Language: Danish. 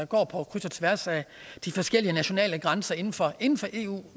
går på kryds og tværs af de forskellige nationale grænser inden for eu